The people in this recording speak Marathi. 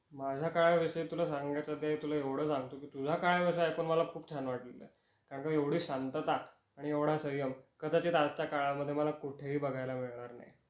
माझ्या काळा विषयी तुला सांगायचं ते तुला एवढं सांगतो की तुझ्या काळाविषयी ऐकून मला खूप छान वाटल. का ग एवढी शांतता आणि एवढा संयम कदाचित आजच्या काळामध्ये मला कुठेही बघायला मिळणार नाही.